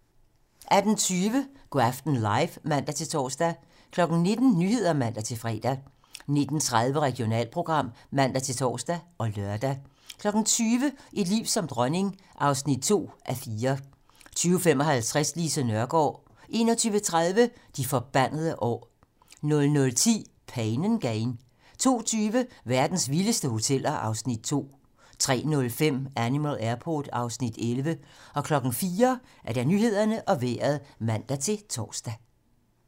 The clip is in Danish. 18:20: Go' aften live (man-tor) 19:00: 19 Nyhederne (man-fre) 19:30: Regionalprogram (man-tor og lør) 20:00: Et liv som dronning (2:4) 20:55: Lise Nørgaard 21:30: De forbandede år 00:10: Pain & Gain 02:20: Verdens vildeste hoteller (Afs. 2) 03:05: Animal Airport (Afs. 11) 04:00: Nyhederne og Vejret (man-tor)